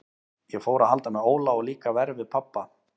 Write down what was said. Ég fór að halda með Óla og líka verr við pabba.